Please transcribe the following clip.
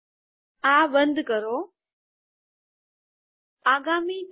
આ બંધ કરો આગામી ટેબ